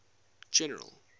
general